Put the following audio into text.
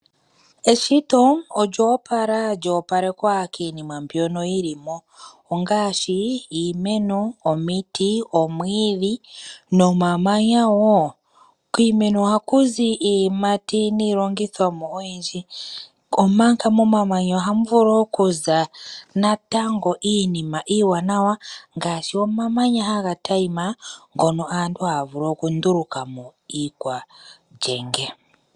Omushiti gwetu tate Kalunga okwa shita iinima oyindji iiwaanawa. Meshito lye okwa kwatelamo woo omamanya omanene.